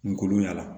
Nkolon y'a la